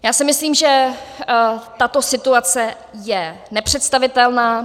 Já si myslím, že tato situace je nepředstavitelná.